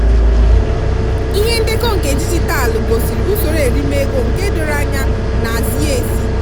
ihe ndekọ nke digitalu gosiri usoro erime ego nke doro anya na zie ezi.